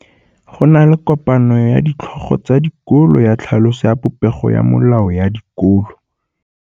Go na le kopanô ya ditlhogo tsa dikolo ya tlhaloso ya popêgô ya melao ya dikolo.